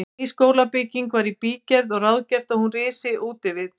Ný skólabygging var í bígerð og ráðgert að hún risi útvið